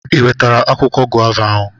I wetara akwụkwọ gova ahụ?